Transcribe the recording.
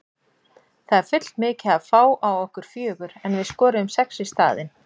Það er full mikið að fá á okkur fjögur en við skoruðum sex í staðinn.